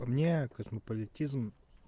по мне космополитизм